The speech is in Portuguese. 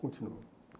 Continuo.